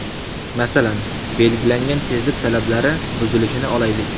Masalan, belgilangan tezlik talablari buzilishini olaylik.